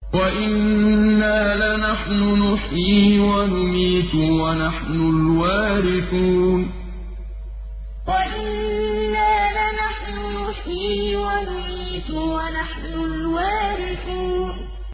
وَإِنَّا لَنَحْنُ نُحْيِي وَنُمِيتُ وَنَحْنُ الْوَارِثُونَ وَإِنَّا لَنَحْنُ نُحْيِي وَنُمِيتُ وَنَحْنُ الْوَارِثُونَ